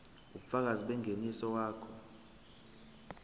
ubufakazi bengeniso wakho